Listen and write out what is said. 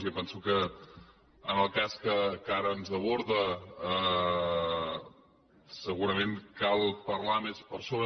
jo penso que en el cas que ara ens aborda segurament cal parlar més per sobre